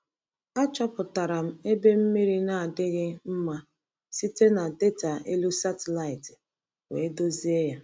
Achọpụtara m ebe mmiri na-adaghị mma site na data elu satịlaịtị wee dozie ya.